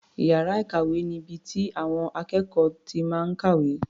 Iyàrá ìkàwé ni ibi tí àwọn akékọ̀ọ́ ti máa ń kàwé.